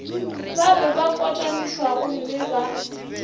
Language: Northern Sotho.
ba be ba kotamišwagomme ba